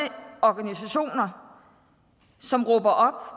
organisationer som råber op